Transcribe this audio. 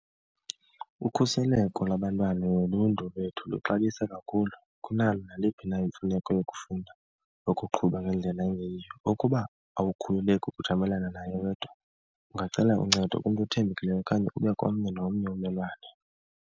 Ukhuseleko lwabantwana noluntu lwethu luxabisa kakhulu kunalo naliphi na imfuneko yokufunda nokuqhuba ngendlela engeyiyo. Ukuba awukhululeki ukujamelana naye wedwa, ungacela uncedo kumntu othembekileyo okanye ube komnye nomnye ummelwane.